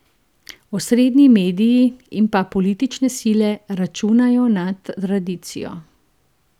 Osrednji mediji in pa politične sile računajo na tradicijo.